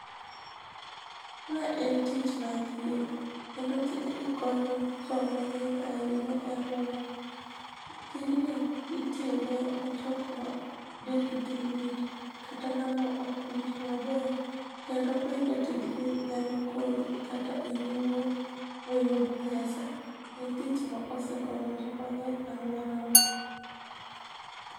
Ma en tich mar thietho kendo tijni konyo joma ng'eny ahinya e alworana. Tijni itime ni jok ma dendgi lit kata ng'ama ok winj maber. Kendo bende tijni nyalo konyi kata in iwuon miyud pesa. En tij mosekonyo joma ng'eny e alworawa.